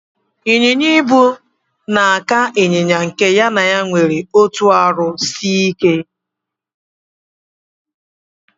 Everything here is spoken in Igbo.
Inyinya-ibu na aka inyinya nke ya na ya nwere otụ arụ sike.